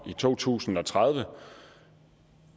i to tusind og tredive